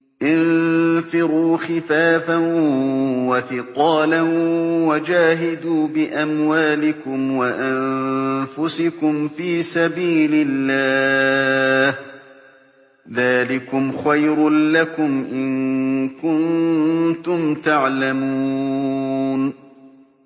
انفِرُوا خِفَافًا وَثِقَالًا وَجَاهِدُوا بِأَمْوَالِكُمْ وَأَنفُسِكُمْ فِي سَبِيلِ اللَّهِ ۚ ذَٰلِكُمْ خَيْرٌ لَّكُمْ إِن كُنتُمْ تَعْلَمُونَ